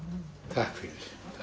takk fyrir